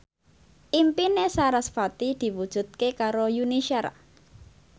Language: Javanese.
impine sarasvati diwujudke karo Yuni Shara